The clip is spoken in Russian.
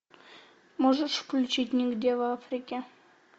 можешь включить нигде в африке